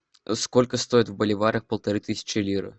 сколько стоит в боливарах полторы тысячи лир